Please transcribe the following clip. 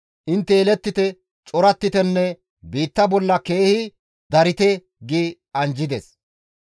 Intte yelettite; corattitenne; biitta bolla keehi darite» gi anjjides.